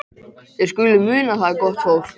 Þið skuluð muna það, gott fólk,